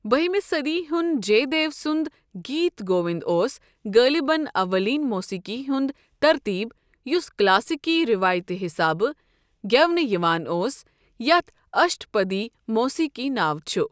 بٔہِمہِ صدی ہٗنٛد جے دیو سُند گیت گووِند اوس غٲلبن اولین موسیقی ہند ترتیب یُس كلاسیكی ریوایتہٕ حِسابہٕ گیونہٕ یوان اوس یتھ اشٹ پدی موسیقی ناو چھُ۔